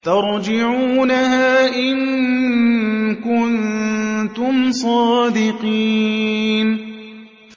تَرْجِعُونَهَا إِن كُنتُمْ صَادِقِينَ